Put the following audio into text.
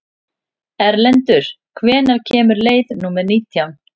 Erlendur, hvenær kemur leið númer nítján?